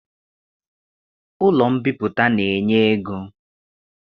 Ụlọ mbipụta na-enye ego.